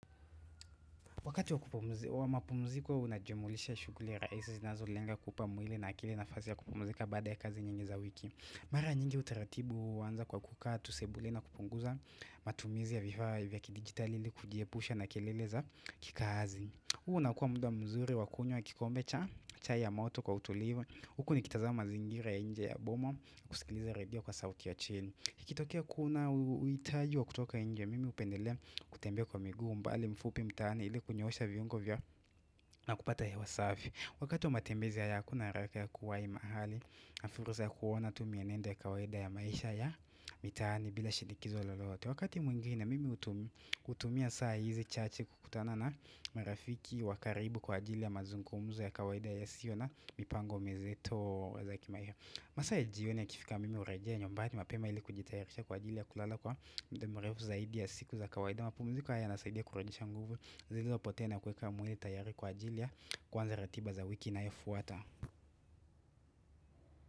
Wakati wa mapumziko unajumuisha shuguli raisi zinazo lenga kuupa mwili na akili na fasi ya kupumzika baada ya kazi nyingi za wiki Mara nyingi utaratibu huu uanza kwa kukaa, tu sebuleni na kupunguza matumizi ya vifaa vya kidigitali li kujiepusha na kelele za kikazi huu unakuwa muda mzuri wakunywa kikombe cha chai ya moto kwa utulivu Huku nikitazama mazingira ya inje ya boma kusikiliza radio kwa sauti ya chini Ikitokea kuna uitaji wa kutoka inje mimi upendelea kutembea kwa miguu mbali mfupi mtaani ili kunyoosha viungo vya na kupata hewa safi Wakati wa matembezi haya hakuna haraka ya kuwai mahali na furusa ya kuona tumienendo ya kawaida ya maisha ya mitaani bila shinikizo lolote Wakati mwingine mimi utumia saa hizi chache kukutana na marafiki wakaribu kwa ajili ya mazungumzo ya kawaida ya sio na mipango mizito ya kimaisha masaa ya jio ni ya kifika mimi urejea nyumbani mapema ili kujitayarisha kwa ajili ya kulala kwa mda mrefu zaidi ya siku za kawaida ma pumziko haya yanasaidia kurejesha nguvu zilizopotea na kuweka mwili tayari kwa ajili ya kuanza ratiba za wiki inayo fuata.